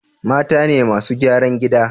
Mata ne masu gyaran gida